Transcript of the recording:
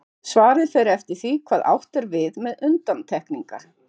Svarið fer eftir því hvað átt er við með undantekningar.